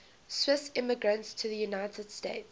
swiss immigrants to the united states